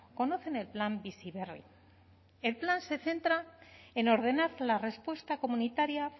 conocen el plan bizi berri el plan se centra en ordenar la respuesta comunitaria